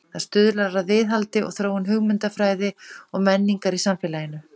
Það stuðlar að viðhaldi og þróun hugmyndafræði og menningar í samfélaginu.